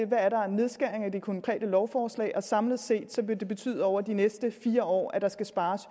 der er af nedskæringer i det konkrete lovforslag og samlet set vil det betyde over de næste fire år at der skal spares